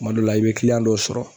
Kuma dɔ la i be kiliyan dɔw sɔrɔ.